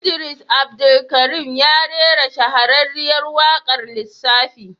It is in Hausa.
Idris Abdulkarim ya rera shahararriyar waƙar lissafi.